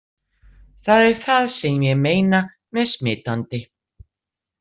Það er það sem ég meina með smitandi!